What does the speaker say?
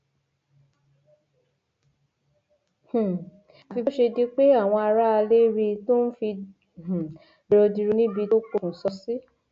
um àfi bó ṣe di pé àwọn aráalé rí i tó ń fi um dirodiro níbi tó pokùṣọ sí